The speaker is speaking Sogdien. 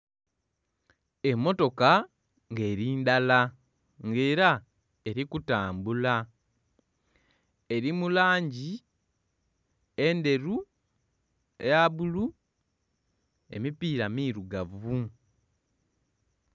Emmotoka nga eri ndala nga era eri kutambula. Eri mu langi enderu, eya bbulu, emipiira mirugavu